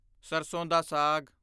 ਸਰਸੋਂ ਦਾ ਸਾਗ